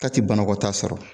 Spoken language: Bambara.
Ta ti banakɔtaa sɔrɔ